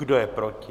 Kdo je proti?